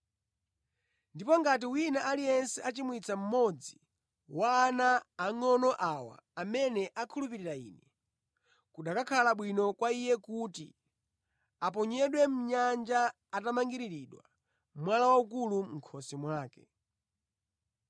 “Ndipo ngati wina aliyense achimwitsa mmodzi wa ana angʼono awa amene akhulupirira Ine, kukanakhala bwino kwa iye kuti aponyedwe mʼnyanja atamangiriridwa mwala waukulu mʼkhosi mwake.